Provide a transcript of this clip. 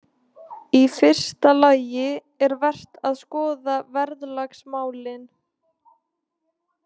Í fyrsta lagi er vert að skoða verðlagsmálin.